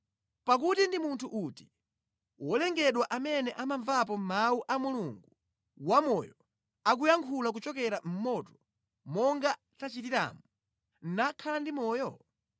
Pakuti ndi munthu uti wolengedwa amene anamvapo mawu a Mulungu wamoyo akuyankhula kuchokera mʼmoto, monga tachitiramu, nakhala ndi moyo?